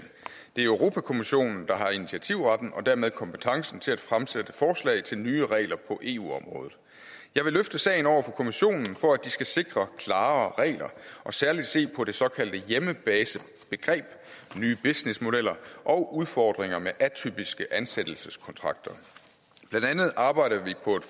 det er europa kommissionen der har initiativretten og dermed kompetencen til at fremsætte forslag til nye regler på eu området jeg vil løfte sagen over for kommissionen for at de skal sikre klarere regler og særlig se på det såkaldte hjemmebasebegreb nye businessmodeller og udfordringer med atypiske ansættelseskontrakter blandt andet arbejder vi på et